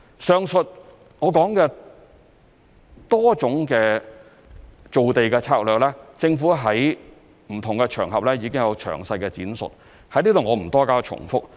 上述我提到的多種造地策略，政府在不同場合已經有詳細闡述，在此我不多加重複。